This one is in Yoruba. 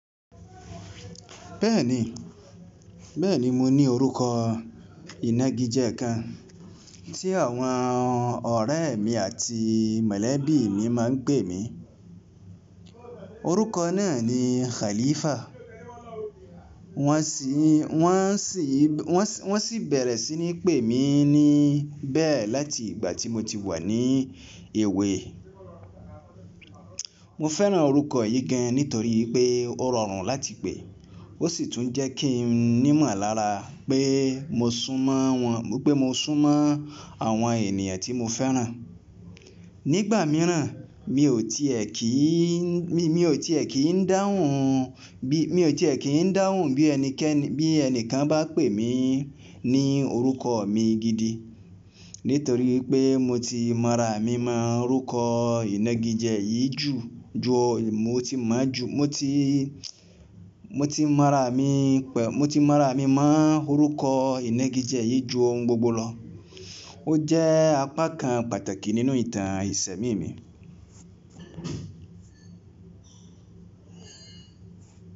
Bẹ́ẹ̀ni, beẹ́ni mo ní orúkọ ìnagije kan tí àwọn ọ̀rẹ́ mi àti mọ̀lẹ́bí mi máa ń pè mí. Orúkọ náà ni Khalifa. Wọ́n sì, wọ́n sì, wọ́n sì bẹ̀rẹ̀ sí ní pè mí ní bẹ́ẹ̀ láti ìgbà tí mo ti wà ní èwẹ. Mo fẹ́ràn orúkọ yìí gan nítorí pé ó rọrùn láti pè, ó sì tún jẹ́ kí n nímọ̀lára pé mo sún mọ́ wọn, pé mo sún mọ́ àwọn ènìyàn tí mo fẹ́ràn. Nígbà mìíràn mi ò tiẹ̀ kì í, mi ò tiẹ̀ kì í dáhùn bí, mi ò tiẹ̀ kì í dáhùn bí ẹnikẹ́ni, bí ẹnìkan bá pè mí ní orúkọ mi gidi nítorí pé mo ti mára mí mọ́ orúkọ ìnagijẹ yí ju, ju mo ti máa ju, mo ti, mo ti mára mí pẹ̀, mo ti mára mí mọ́ orúkọ ìnagijẹ yí ju ohun gbogbo lọ. Ó jẹ́ apá kan pàtàkì nínú ìtàn ẹsẹ̀ mi mi.